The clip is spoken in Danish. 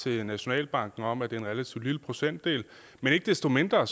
til nationalbanken om at det om en relativt lille procentdel men ikke desto mindre